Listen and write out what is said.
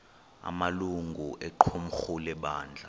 amalungu equmrhu lebandla